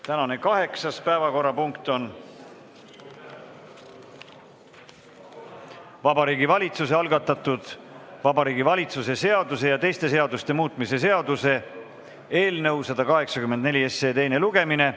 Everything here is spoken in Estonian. Tänane kaheksas päevakorrapunkt on Vabariigi Valitsuse algatatud Vabariigi Valitsuse seaduse ja teiste seaduste muutmise seaduse eelnõu 184 teine lugemine.